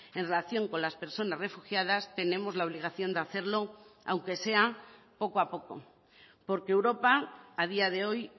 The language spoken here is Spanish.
en relación con las personas refugiadas tenemos la obligación de hacerlo aunque sea poco a poco porque europa a día de hoy